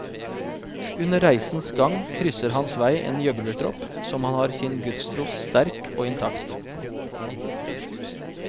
Under reisens gang krysser hans vei en gjøglertropp som har sin gudstro sterk og intakt.